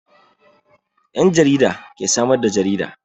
Yan jarida ke samar da jarida.